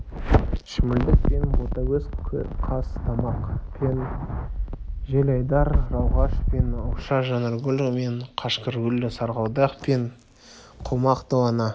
шүмілдік пен ботагөз қазтамақ пен желайдар рауғаш пен ауша жанаргүл мен қашқаргүл сарғалдақ пен құлмақ долана